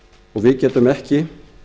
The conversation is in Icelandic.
og við getum ekki